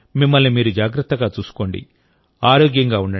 మీరందరూ మిమ్మల్ని మీరు జాగ్రత్తగా చూసుకోండి